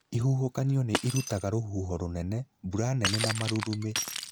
Ihuhũkanio nĩ irutaga rũhuho rũnene, mbura nene na marurumĩ.